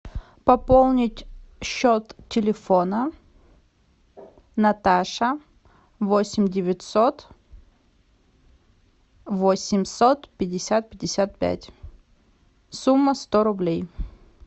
пополнить счет телефона наташа восемь девятьсот восемьсот пятьдесят пятьдесят пять сумма сто рублей